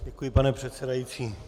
Děkuji, pane předsedající.